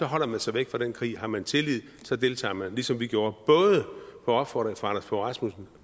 holder man sig væk fra den krig har man tillid deltager man ligesom vi gjorde både på opfordring fra rasmussen